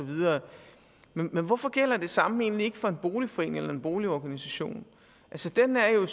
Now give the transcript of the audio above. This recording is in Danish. men hvorfor gælder det samme egentlig ikke for en boligforening eller boligorganisation den er jo